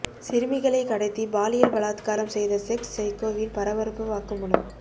சிறுமிகளை கடத்தி பாலியல் பலாத்காரம் செய்த செக்ஸ் சைக்கோவின் பரபரப்பு வாக்குமூலம்